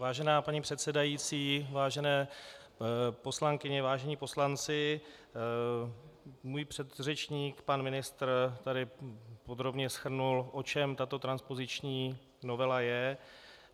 Vážená paní předsedající, vážené poslankyně, vážení poslanci, můj předřečník pan ministr tady podrobně shrnul, o čem tato transpoziční novela je.